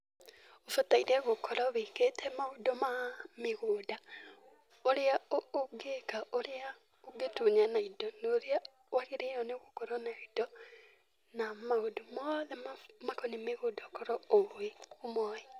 Ũbataire gũkorwo wĩkĩte maũndũ ma mĩgũnda, ũrĩa ũngĩka, ũrĩa ũngĩtunyana indo na ũrĩa wagĩrĩire nĩ gũkorwo na indo na maũndũ mothe makoniĩ mĩgũnda ũkorwo ũmoĩ.